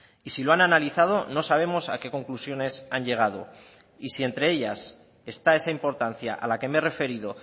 y si lo han analizado no sabemos a qué conclusiones han llegado y si entre ellas está esa importancia a la que me he referido